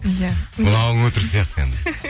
иә мынауың өтірік сияқты енді